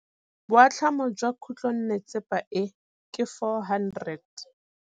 Boatlhamô jwa khutlonnetsepa e, ke 400.